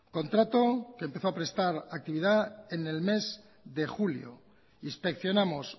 contrato que empezó a prestar actividad en el mes de julio inspeccionamos